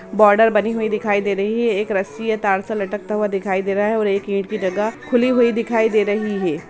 Border बनी हुई दिखाई दे रही है एक रस्सी है तार से लटकता हुआ दिखाई दे रहा है और एक ईंट कि जगह खुली हुई दिखाई दे रही है।